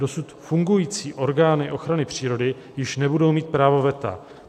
Dosud fungující orgány ochrany přírody již nebudou mít právo veta.